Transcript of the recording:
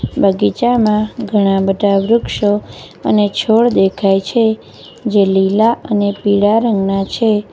બગીચામાં ઘણાં બધા વૃક્ષો અને છોડ દેખાય છે જે લીલા અને પીળા રંગના છે.